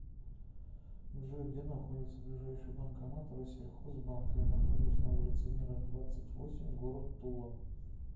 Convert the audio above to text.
джой где находится ближайший банкомат россельхоз банка я нахожусь на улице мира двадцать восемь город тула